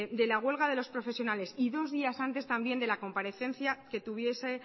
de la huelga de los profesionales y dos días antes también de la comparecencia